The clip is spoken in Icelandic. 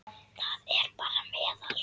Það er bara meðal.